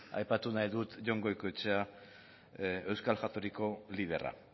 aipatu nahi dut jon goikoetxea euskal jatorriko liderra